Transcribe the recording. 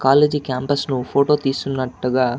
college క్యాంపుస్లో photo తీస్కున్నట్టుగా --